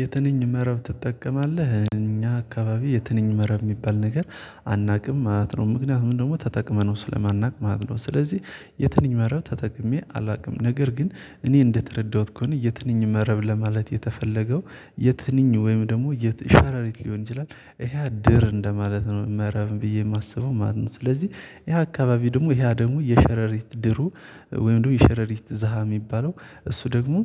"የትንኝ መረብ ትጠቀማለህ?" እኛ አካባቢ የትንኝ መረብ የሚባል ነገር አናውቅም ማለት ነው። ምክንያቱም ደግሞ ተጠቅመነው ስለማናውቅ ማለት ነው። ስለዚህ የትንኝ መረብ ተጠቅሜ አላውቅም፤ ነገር ግን እኔ እንደተረዳሁት ከሆነ የትንኝ መረብ ለማለት የተፈለገው የትንኝ ወይም ደግሞ የት ሸረሪት ሊሆን ይችላል ይሀ ድር እንደማለት ነው መረብ ብዬ የማስበው ማለት ነው። ስለዚህ ይሄ አካባቢ ደግሞ ይሀ ደግሞ የሸረሪት ድሩ ወይም ደግሞ የሸረሪት ዘሃ የሚባለው እሱ ደግሞ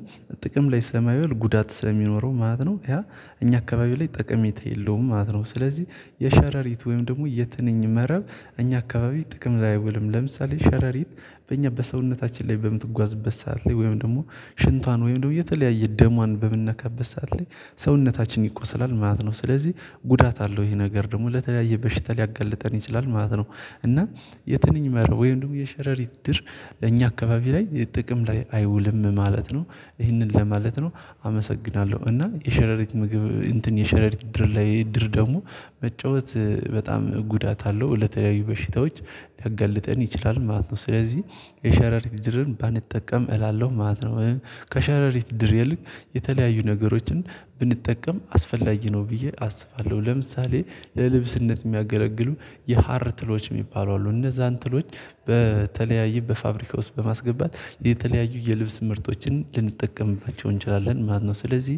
ጥቅም ላይ ስለማይወል ጉዳት ስለሚኖረው ማለት ነው ያ እኛ አካባቢ ላይ ጥቅሜታ የለውም ማለት ነው። ስለዚህ የሸረሪት ወይም ደግሞ የትንኝ መረብ እኛ አካባቢ ጥቅም ላይ አይውልም። ለምሳሌ ሸረሪት በእኛ በሰውነታችን ላይ በምትጓዝበት ሰዓት ላይ ወይም ደግሞ ሽንቷን ወይም ደግሞ የተለያየ ደሟን በምንነካበት ሰዓት ላይ ሰውነታችን ይቆስላል ማለት ነው። ስለዚህ ጉዳት አለው ይሄ ነገር ደግሞ ለተለያየ በሽታ ሊያጋልጠን ይችላል ማለት ነው፤ እና የትንኝ መረብ ወይም ደግሞ የሸረሪት ድር እኛ አካባቢ ላይ ጥቅም ላይ አይውልም ማለት ነው። ይህንን ለማለት ነው አመሰግናለሁ፤ እና የሸረሪት ምግብ እንትን የሸረሪት ድር ላይ ድር ደግሞ መጫወት በጣም ጉዳት አለው ለተለያዩ በሽታዎች ሊያጋልጠን ይችላል ማለት ነው። ስለዚህ የሸረሪት ድርን ባንጠቀም እላለሁ ማለት ነው። ከሸረሪት ድር ይልቅ የተለያዩ ነገሮችን ብንጠቀም አስፈላጊ ነው ብዬ አስባለሁ። ለምሳሌ ለልብስነት የሚያገለግሉ የሀር ትሎች የሚባሉ አሉ እነዛን ትሎች በተለያየ በፋብሪካ ውስጥ በማስገባት የተለያዩ የልብስ ምርቶችን ልንጠቀምባቸው እንችላለን ማለት ነው። ስለዚህ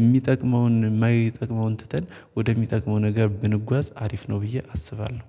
የሚጠቅመውን የማይጠቅመውን ትተን ወደሚጠቅመው ነገር ብንጓዝ አሪፍ ነው ብዬ አስባለሁ።